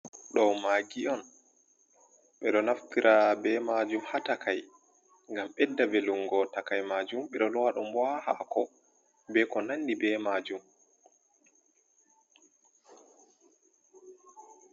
Ɗo magi’on be do naftira be majum ha takai gam bedda belungo takai majum bedo lwa dum boa hako be ko nanni be majum.